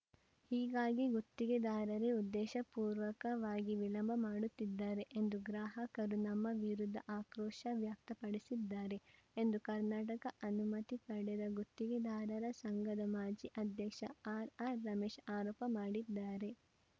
ಹೀಗಾಗಿ ಗುತ್ತಿಗೆದಾರರೇ ಉದ್ದೇಶಪೂರ್ವಕವಾಗಿ ವಿಳಂಬ ಮಾಡುತ್ತಿದ್ದಾರೆ ಎಂದು ಗ್ರಾಹಕರು ನಮ್ಮ ವಿರುದ್ದ ಆಕ್ರೋಶ ವ್ಯಕ್ತಪಡಿಸಿ ದ್ದಾರೆ ಎಂದು ಕರ್ನಾಟಕ ಅನುಮತಿ ಪಡೆದ ಗುತ್ತಿಗೆದಾರರ ಸಂಘದ ಮಾಜಿ ಆಧ್ಯಕ್ಷ ಆರ್‌ಆರ್‌ರಮೇಶ್‌ ಆರೋಪ ಮಾಡಿದ್ದಾರೆ